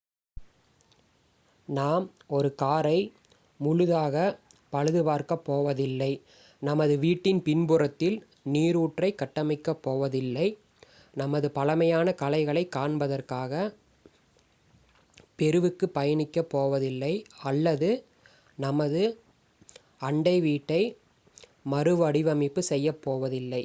நாம் ஒரு காரை முழுதாக பழுது பார்க்கப் போவதில்லை நமது வீட்டின் பின்புறத்தில் நீருற்றை கட்டமைக்கப் போவதில்லை நமது பழமையான கலைகளை காண்பதற்காக பெருவுக்கு பயணிக்க போவதில்லை அல்லது நமது அண்டை வீட்டை மறுவடிவமைப்பு செய்யப்போவதில்லை